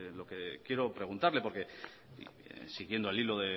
lo que quiero preguntarle porque siguiendo el hilo